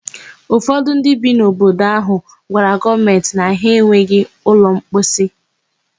Ufọdụ ndị bi n'obodo áhụ̀ gwara gọọmentị na ha enweghị ụlọmposi.